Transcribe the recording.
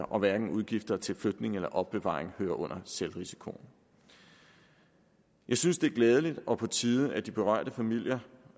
og hverken udgifter til flytning eller opbevaring hører under selvrisikoen jeg synes det er glædeligt og på tide at de berørte familier